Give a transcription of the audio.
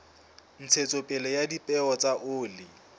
ntshetsopele ya dipeo tsa oli